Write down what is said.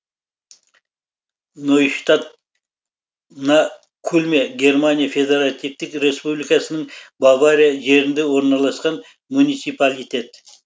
нойштадт на кульме германия федеративтік республикасының бавария жерінде орналасқан муниципалитет